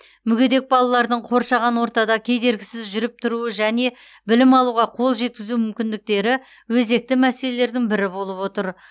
мүгедек балалардың қоршаған ортада кедергісіз жүріп тұруы және білім алуға қол жеткізу мүмкіндіктері өзекті мәселелердің бірі болып отыр